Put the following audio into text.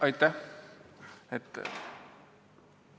Aitäh!